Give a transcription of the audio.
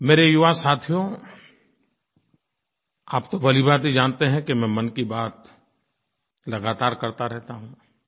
मेरे युवा साथियो आप तो भलीभाँति जानते हैं कि मैं मन की बात लगातार करता रहता हूँ